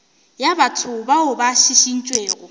ya batho bao ba šišintšwego